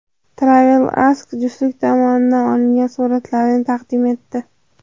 TravelAsk juftlik tomonidan olingan suratlarni taqdim etdi .